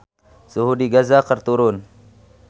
Suhu di Gaza keur turun